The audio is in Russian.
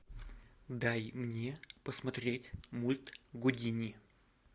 дай мне посмотреть мульт гудини